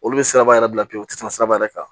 Olu bɛ siraba yɛrɛ bila pewu u tɛ tɛmɛ siraba yɛrɛ kan